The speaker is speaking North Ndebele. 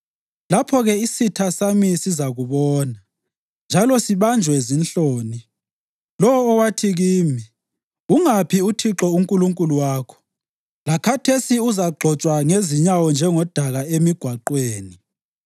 Lapho-ke isitha sami sizakubona, njalo sibanjwe zinhloni, lowo owathi kimi, “Ungaphi uThixo uNkulunkulu wakho?” Lakhathesi uzagxotshwa ngezinyawo njengodaka emigwaqweni.